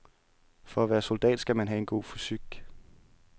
For at være soldat skal man have en god fysik.